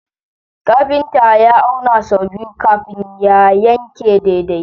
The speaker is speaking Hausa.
Kafinta ya auna sau biyu kafin ya yanke daidai.